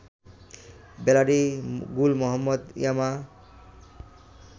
bloody Gul Mohammad Yama